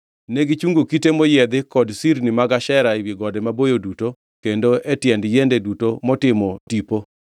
Negichungo kite moyiedhi kod sirni mag Ashera ewi gode maboyo duto, kendo e tiend yiende duto motimo tipo.